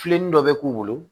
Filenin dɔ bɛ k'u bolo